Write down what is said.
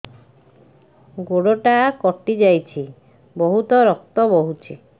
ଗୋଡ଼ଟା କଟି ଯାଇଛି ବହୁତ ରକ୍ତ ବହୁଛି